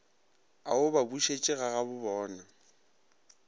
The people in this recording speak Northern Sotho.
a o ba bušetše gagabobona